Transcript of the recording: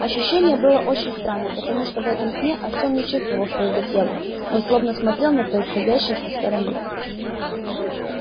ощущение было очень странным потому что в этом сне артём не чувствовал своего тела он словно смотрел на происходящее со стороны